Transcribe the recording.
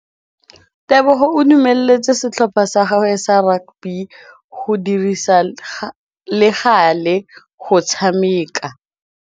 Tebogô o dumeletse setlhopha sa gagwe sa rakabi go dirisa le galê go tshameka.